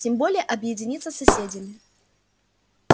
тем более объединиться с соседями